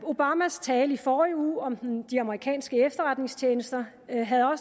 obamas tale i forrige uge om de amerikanske efterretningstjenester havde